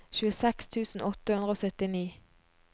tjueseks tusen åtte hundre og syttini